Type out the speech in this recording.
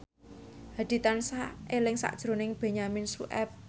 Hadi tansah eling sakjroning Benyamin Sueb